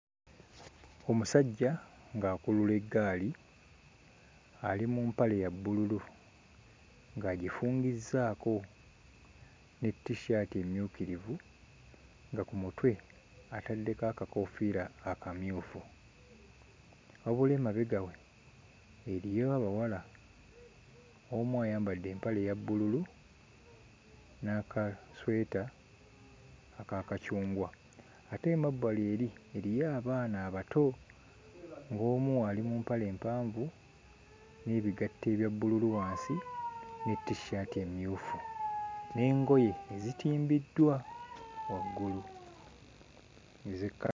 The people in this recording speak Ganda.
Omusajja ng'akulula eggaali, ali mu mpale ya bbululu ng'agifungizzaako ne t-shirt emmyukirivu, nga ku mutwe ataddeko akakoofiira akamyufu. Wabula emabega we eriyo abawala omu ayambadde empale eya bbululu n'akasweta aka kacungwa. Ate emabbali eri eriyo abaana abato ng'omu ali mu mpale mpanvu n'ebigatto ebya bbululu wansi ne t-shirt emmyufu. N'engoye ezitimbiddwa waggulu ez'ekka...